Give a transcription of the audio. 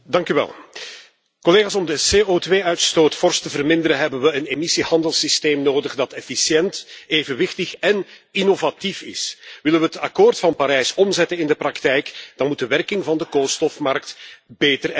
Voorzitter, om de CO2 uitstoot fors te verminderen, hebben we een emissiehandelssysteem nodig dat efficiënt, evenwichtig en innovatief is. Willen we het Akkoord van Parijs omzetten in de praktijk, dan moet de werking van de koolstofmarkt beter en efficiënter.